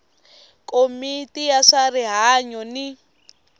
komiti ya swa rihanyu ni